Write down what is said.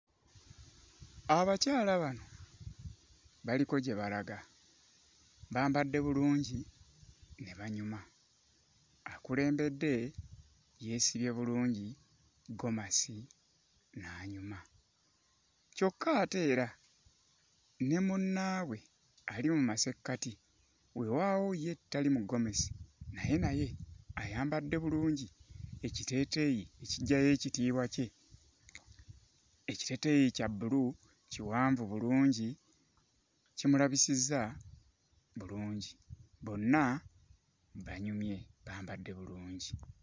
Abakyala bano baliko gye balaga. Bambadde bulungi ne banyuma. Akulembedde yeesibye bulungi ggomasi n'anyuma kyokka ate era ne munnaabwe ali mu masekkati weewaawo ye tali mu ggomesi naye naye ayambadde bulungi ekiteeteeyi ekiggyayo ekitiibwa kye. Ekiteeteeyi kya bbulu, kiwanvu bulungi, kimulabisizza bulungi. Bonna banyumye, bambadde bulungi.